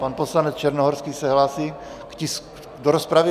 Pan poslanec Černohorský se hlásí do rozpravy.